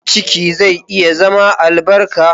Ciki zai iya zama albarka.